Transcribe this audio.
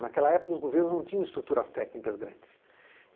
Naquela época os governos não tinham estruturas técnicas grandes.